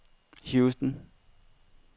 Houston